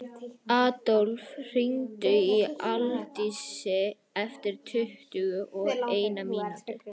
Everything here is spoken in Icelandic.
Adólf, hringdu í Aldísi eftir tuttugu og eina mínútur.